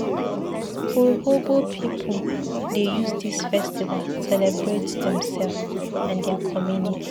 Urhobo pipu dey use dis festival celebrate demsef and their community.